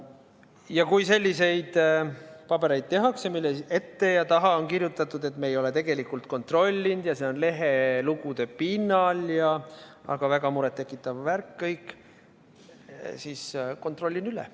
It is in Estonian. Ja kui selliseid pabereid tehakse meile ette ja nende taha on kirjutatud, et me ei ole tegelikult kontrollinud ja see on lehelugude pinnal tehtud, aga väga muret tekitav värk kõik, siis kontrollin üle.